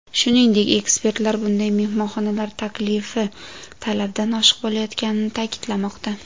Shuningdek, ekspertlar bunday mehmonxonalar taklifi talabdan oshiq bo‘layotganini ta’kidlamoqda.